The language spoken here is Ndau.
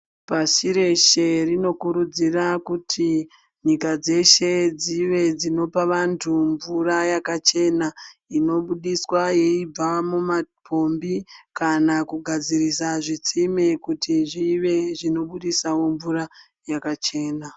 Pasi reshe rinokurudzira kuti nyika dzeshe dzive dzinopa vantu mvura yakachena inobudiswa yeibva mumapombi kana kugadzirisa zvitsime kuti zvive zvinobudisawo mvura yakachena.